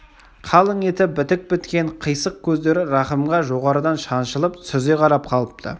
қалың еті бітік біткен қисық көздері рахымға жоғарыдан шаншылып сүзе қарап қалыпты